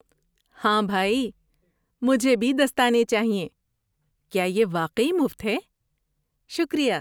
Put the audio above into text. ہاں بھائی، مجھے بھی دستانے چاہئیں۔ کیا یہ واقعی مفت ہے؟ شکریہ!